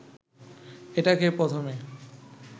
এটাকে প্রথমে